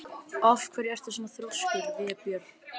Af hverju ertu svona þrjóskur, Vébjörn?